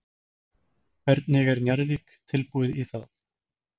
Hvernig er Njarðvík tilbúið í það?